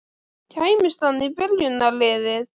Kæmist hann í byrjunarliðið?